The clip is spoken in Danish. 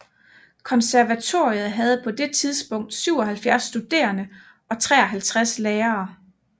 Konservatoriet havde på det tidspunkt 77 studerende og 53 lærere